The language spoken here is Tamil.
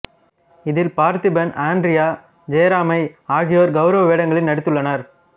இதில் பார்த்திபன் ஆண்ட்ரியா ஜெரமையா ஆகியோர் கௌரவ வேடங்களில் நடித்துள்ளனர்